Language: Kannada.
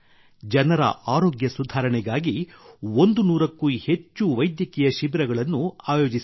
ಜನರ ಆರೋಗ್ಯ ಸುಧಾರಣೆಗಾಗಿ 100ಕ್ಕೂ ಹೆಚ್ಚು ವೈದ್ಯಕೀಯ ಶಿಬಿರಗಳನ್ನು ಆಯೋಜಿಸಿದ್ದಾರೆ